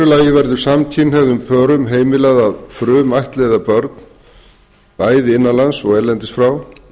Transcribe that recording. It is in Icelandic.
kynhneigð öðrum samkynhneigðum pörum verður heimilað að frumættleiða börn bæði innanlands og erlendis frá